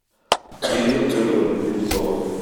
ирина федоровна кривцова